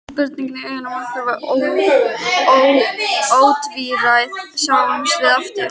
Spurningin í augunum var ótvíræð: Sjáumst við aftur?